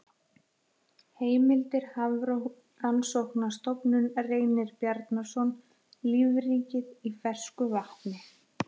Heimildir Hafrannsóknarstofnun Reynir Bjarnason, Lífríkið í fersku vatni.